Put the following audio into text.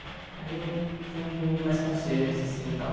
Aí eu fui indo em mais concertos, assim, e tal.